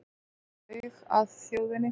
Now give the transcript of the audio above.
Laug að þjóðinni